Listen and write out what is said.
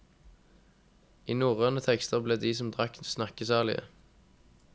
I norrøne tekster ble de som drakk snakkesalige.